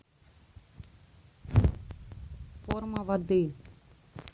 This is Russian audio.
форма воды